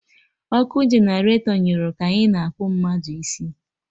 Ọkụ generatọ nyụrụ ka anyị na-akpụ mmadụ isi